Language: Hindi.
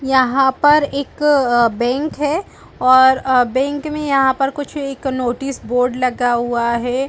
यहां पर एक बैंक है और बैंक में यहां पर कुछ एक नोटिस बोर्ड लगा हुआ है।